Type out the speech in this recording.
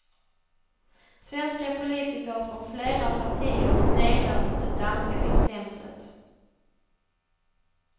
Svenska politiker från flera partier sneglar mot det danska exemplet.